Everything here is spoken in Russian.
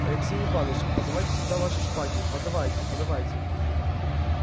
алексей иваныч подавайте сюда ваши шпаги подавайте подавайте